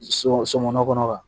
So somɔnɔkɔnɔ na